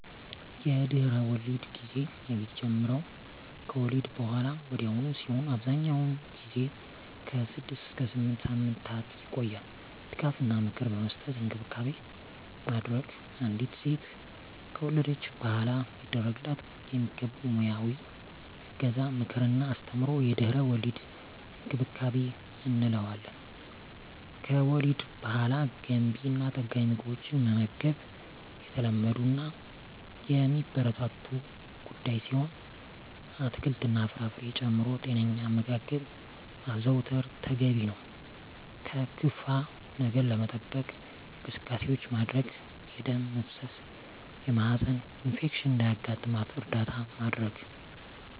የድህረ-ወሊድ ጊዜ የሚጀምረው ከወሊድ በሃላ ወዲያውኑ ሲሆን አብዛኛውን ጊዜ ከ6 እስከ 8 ሳምንታት ይቆያል ድጋፍ እና ምክር በመስጠት እንክብካቤ ማድረግ። አንዲት ሴት ከወለደች በሃላ ሊደረግላት የሚገቡ ሙያዊ እገዛ ምክር እና አስተምሮ የድህረ-ወሊድ እንክብካቤ እንለዋለን። ከወሊድ በሃላ ገንቢ እና ጠጋኝ ምግቦችን መመገብ የተለመዱ እና የሚበረታቱ ጉዳይ ሲሆን አትክልት እና ፍራፍሬ ጨምሮ ጤነኛ አመጋገብ ማዘውተር ተገቢ ነው። ከክፋ ነገር ለመጠበቅ እንቅስቃሴዎች ማድረግ የደም መፍሰስ የማህፀን ኢንፌክሽን እንዳያጋጥም እርዳታ ማድረግ።